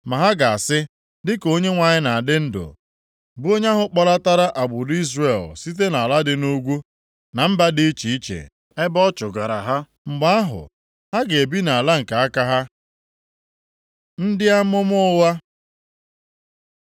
ma ha ga-asị, ‘Dịka Onyenwe anyị na-adị ndụ, bụ onye ahụ kpọlatara agbụrụ Izrel site nʼala dị nʼugwu, na mba dị iche iche ebe ọ chụgara ha.’ Mgbe ahụ, ha ga-ebi nʼala nke aka ha.” Ndị amụma ụgha.